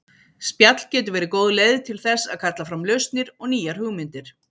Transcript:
Spjall getur verið góð leið til þess að kalla fram lausnir og nýjar hugmyndir.